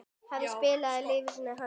Hefur spilað úr lífsins hönd.